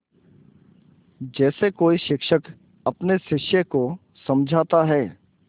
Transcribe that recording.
जैसे कोई शिक्षक अपने शिष्य को समझाता है